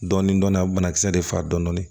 Dɔɔnin dɔɔnin a banakisɛ de faga dɔɔnin